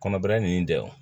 Kɔnɔbaara ninnu dɛ